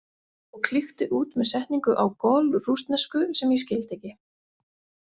Og klykkti út með setningu á golrússnesku sem ég skildi ekki.